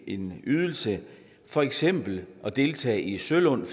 en ydelse for eksempel at deltage i sølund